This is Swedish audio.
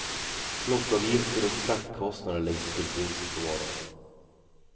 Plockavgifter och fraktkostnader läggs till priset på varorna.